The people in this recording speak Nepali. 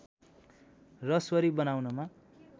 रसवरी बनाउनमा